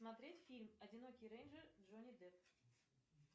смотреть фильм одинокий рейнджер джонни депп